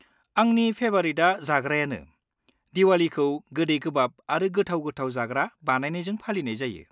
आंनि फेभारिटआ जाग्रायानो। दिवालीखौ गोदै गोबाब आरो गोथाव-गोथाव जाग्रा बानायनायजों फालिनाय जायो।